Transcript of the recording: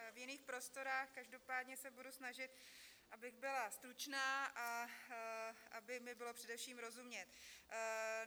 V jiných prostorách, každopádně se budu snažit, abych byla stručná a aby mi bylo především rozumět.